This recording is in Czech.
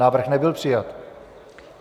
Návrh nebyl přijat.